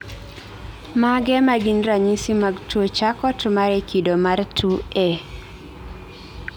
Mage magin ranyisi mag tuo Charcot Marie kido mar 2A